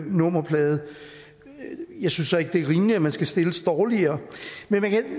nummerplade jeg synes så ikke det er rimeligt at man skal stilles dårligere man kan